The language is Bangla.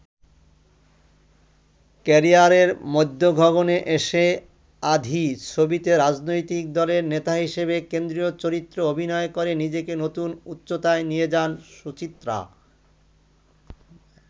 ক্যারিয়ারের মধ্যগগণে এসে ‘আঁধি’ ছবিতে রাজনৈতিক দলের নেতা হিসেবে কেন্দ্রীয় চরিত্রে অভিনয় করে নিজেকে নতুন উচ্চতায় নিয়ে যান সুচিত্রা।